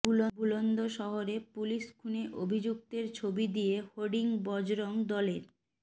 বুলন্দশহরে পুলিশ খুনে অভিযুক্তের ছবি দিয়ে হোর্ডিং বজরং দলের